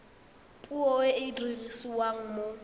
puo e e dirisiwang mo